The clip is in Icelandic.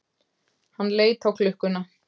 Hann leit á klukkuna.